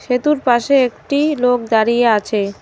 সেতুর পাশে একটি লোক দাঁড়িয়ে আছে।